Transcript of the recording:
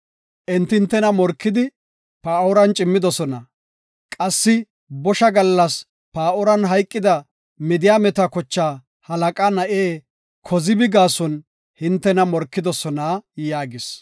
Enti hintena morkidi Paa7oran cimmidosona qassi bosha gallas Paa7oran hayqida Midiyaameta kochaa halaqa na7e Kozibi gaason hintena morkidosona” yaagis.